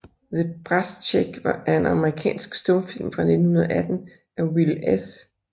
The Brass Check er en amerikansk stumfilm fra 1918 af Will S